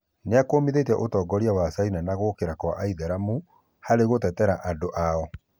Nĩakũmithĩtie ũtongoria wa Caina na gũkira gwa aithĩramu harĩ gũtetera aruna ao.